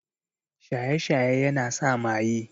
Shaye-shaye yana sa maye.